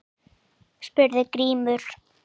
spurði Grímur.